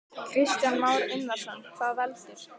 Kristján Már Unnarsson: Hvað veldur?